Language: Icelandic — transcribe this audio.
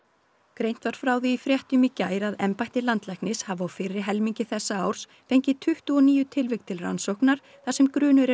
greint var frá því í fréttum í gær að embætti landlæknis hafi á fyrri helmingi þessa árs fengið tuttugu og níu tilvik til rannsóknar þar sem grunur